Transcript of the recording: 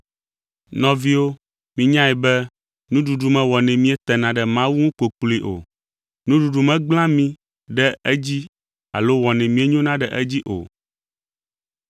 Nɔviwo, minyae be nuɖuɖu mewɔnɛ míetena ɖe Mawu ŋu kpokploe o. Nuɖuɖu megblẽa mí ɖe edzi alo wɔnɛ míenyona ɖe edzi o.